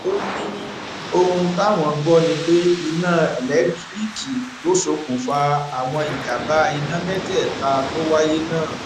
ó ní òun táwọn gbọ ni pé iná ẹlẹńtíríìkì ló ṣokùnfà àwọn ìjàǹbá iná mẹtẹẹta tó wáyé náà